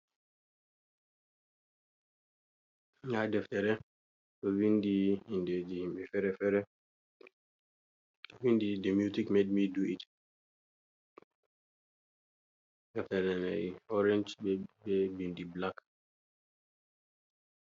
Nɗa deftere ɗo vindi inɗeji himɓe fere-fere, ɗo vindi inɗe mutic med mi du it, deftere mai orange be bindi black.